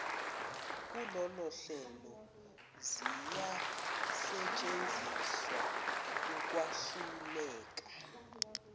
kulolohlelo ziyasetshenziswa ukwahluleka